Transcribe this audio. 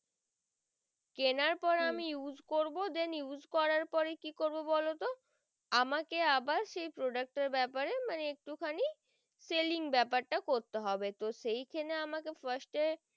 কেনার পর আমি use করবো then use করার পরে কি করবো বলতো আমাকে আবার সেই product এর বেপার মানে একটু খানি selling বেপার তা করতে হবে তো সেখানে আমাকে first এ